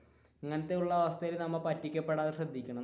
ഇങ്ങനത്തെ ഉള്ള അവസ്ഥയിൽ പറ്റിക്ക പെടാതെ നമ്മൾ ശ്രദ്ധിക്കണം.